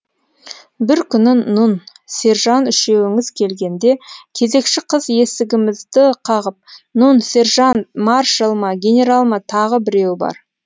бір күні нұн сержан үшеуіңіз келгенде кезекші қыз есігімізді қағып нұн сержант маршал ма генерал ма тағы біреуі бар